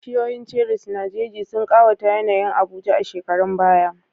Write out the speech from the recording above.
Bishiyoyin cherries na jeji sun ƙawata yanayin Abuja a shekarun baya.